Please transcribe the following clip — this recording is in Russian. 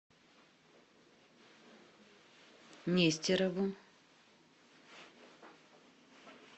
нестерову